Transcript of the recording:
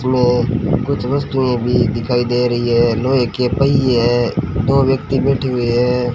इसमें कुछ वस्तुएं भी दिखाई दे रही हैं लोहे के पहिए है दो व्यक्ति बैठे हुए है।